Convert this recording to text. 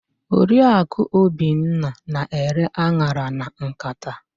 Oriakụ Obinna na-ere an̄ara na nkata.